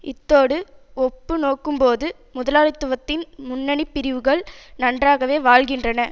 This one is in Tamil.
இத்தோடு ஒப்பு நோக்கும்போது முதலாளித்துவத்தின் முன்னணி பிரிவுகள் நன்றாகவே வாழ்கின்றன